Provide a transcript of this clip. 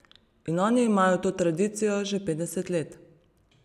In oni imajo to tradicijo že petdeset let.